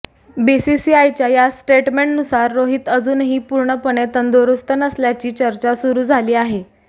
बीसीसीआयच्या या स्टेटमेंटनुसार रोहित अजूनही पूर्णपणे तंदुरुस्त नसल्याची चर्चा सुरू झाली आहे